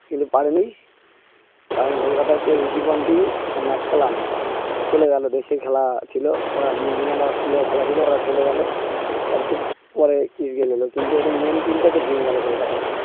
কিন্তু পারেনি কারণ কলকাতা যে রীতিপন্ডিং ম্যাকালাম চলে গেল দেশের খেলা ছিল ওরা নিউজিল্যান্ড অস্ট্রেলিয়া খেলা ছিল ওরা চলে গেল কিন্তু ওদের মেন team টা তো ভেঙে গেল কলকাতার